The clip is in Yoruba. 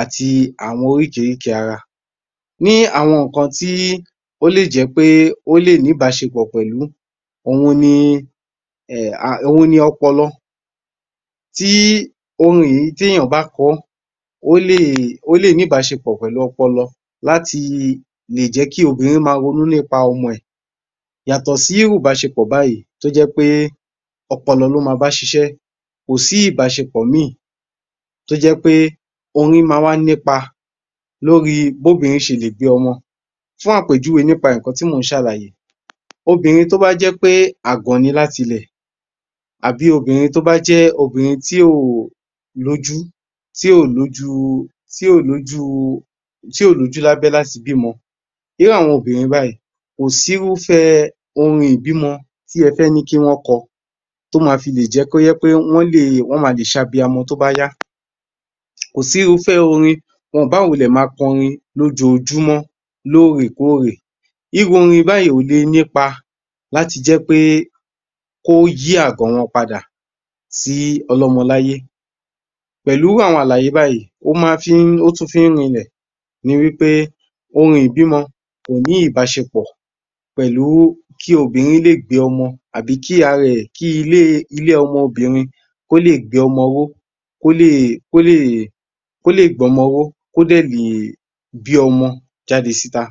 àti àwọn oríkìríkìí ara ní àwọn ìkan ti ́ólè jẹ́pẹ́ ólè ní ìpáșepọ̀ pẹ̀lú òhun ni, òhun ni ọpọlọ tí orin yìí tí èyàn bá kọọ́ ólè, ólè ní ìbáșepọ̀ pẹ̀lú ọpọlọ láti leè jẹ́kí obìrin máa ronú nípa ọmọ rẹ̀ yàtọ̀ sí irú ìbáșepọ̀ báyìí tó jẹ́pẹ́ ọpọlọ ló máa báșișẹ́ kòsí ìbáșepọ̀ míràn tó jẹ́pé oyún máa wá nípa lóríI bí obìrin șele bí ọmọ fún àpèjúwe nípa ìkan tí mò ń șálàyé obìrin tóbá jẹpẹ́ àgàn ni láti ilè àbí obìrin tó bá jẹ́ obìrin tí óò lójú, tí óò lójú, tí óò lójú lábẹ́ láti bímọ irú àwọn obìrin báyìí kòsí irúfẹ́ orin ìbí mọ tí ẹ fẹ́ ní kí wọ́n kọ tó má filè jẹ́kí kó jẹ́ wípé wọ́n máa leè sabiamọ tóbá yá kòsí irúfẹ́ orin wọ́n oò bá wulẹ̀ máa kọrin lójọjúmọ́, lórèèkórèè. irú orin báyìí kòle nípa láti jẹ́pẹ́ kóyí àgàn wọn padà sí ọlọ́mọ láyé pẹ̀lú àwọn àlàyé báyìí ó má fi ń ótún fi ń rilè ni wípé orin ìbímọ kòní ìbáșepọ̀ pẹ̀lú kí obìrin léè gbé ọmọ tàbí kí ara rẹ̀ẹ́ kí ilé ọmọ obìrin kí ólè gbé ọmọ ọwọ́ kólè kólè, kólè gbé ọmọ ọwọ́ kósì tún lẹ̀ẹ̀ bí ọmọ jáde síta.